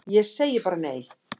Ég segi bara nei!